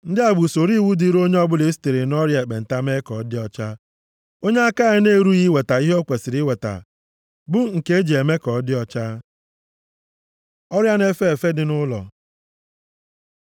Ndị a bụ usoro iwu dịrị onye ọbụla e sitere nʼọrịa ekpenta mee ka ọ dị ọcha, onye aka ya na-erughị iweta ihe o kwesiri iweta, bụ nke e ji eme ka ọ dị ọcha. Ọrịa na-efe efe dị nʼụlọ